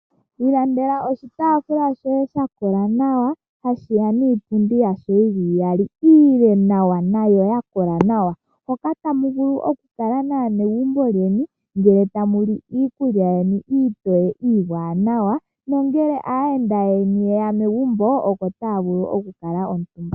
Ilandela oshitaafula shoye shakola nawa, hashiya niipundi yasho iyali iile nawa nayo yakola nawa. Hoka tamu vulu oku kala naanegumbo lyeni ngele tamu li iikulya yeni iitoye, iiwanawa nongele aayenda yeni yeya megumbo oko taya vulu oku kala omutumba.